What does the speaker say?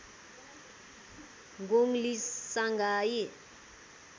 गोङ Li Shanghai